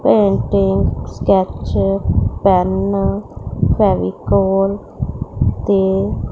sketch pen Fevicol Fevicol ते--